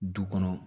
Du kɔnɔ